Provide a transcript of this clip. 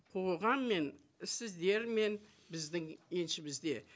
қоғаммен сіздермен біздің еншімізде